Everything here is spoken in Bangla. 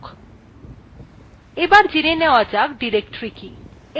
এবার জেনে নেওয়া যাক directory কি